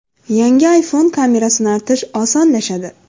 Yangi iPhone kamerasini artish osonlashadi.